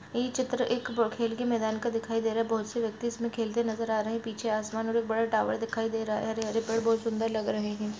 यह चित्र एक खेल के मैदान का दिखाई दे रहा है बहुत से व्यक्ति यहाँ खेलते नज़र आ रहे हैं पीछे आसमान और एक बड़ा टावर दिखाई दे रहा है हरे-हरे पेड़ बहुत सुन्दर लग रहे हैं।